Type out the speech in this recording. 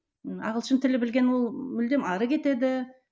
ы ағылшын тілі білген ол мүлдем ары кетеді